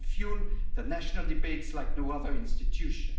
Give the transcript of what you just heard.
You can fuel the national debates like no other institution.